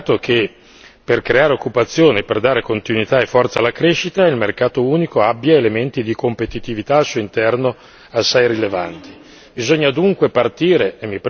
Ed è importante come veniva ricordato che per creare occupazione e per dare continuità e forza alla crescita il mercato unico abbia elementi di competitività al suo interno assai rilevanti.